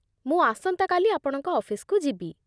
ମୁଁ ଆସନ୍ତାକାଲି ଆପଣଙ୍କ ଅଫିସକୁ ଯିବି।